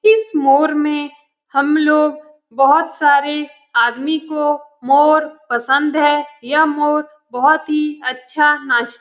इस मोर में हमलोग बहुत सारे आदमी को मोर पसंद है यह मोर बहुत ही अच्छा नाच --